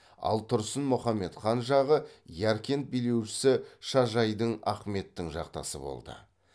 ал тұрсын мұхаммед хан жағы яркент билеушісі шажайдің ахметтің жақтасы болды